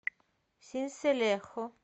синселехо